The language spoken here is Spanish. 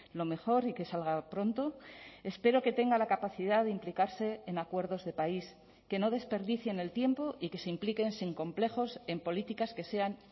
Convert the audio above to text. lo mejor y que salga pronto espero que tenga la capacidad de implicarse en acuerdos de país que no desperdicien el tiempo y que se impliquen sin complejos en políticas que sean